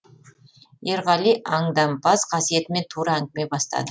ерғали аңдампаз қасиетімен тура әңгіме бастады